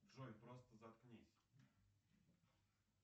джой просто заткнись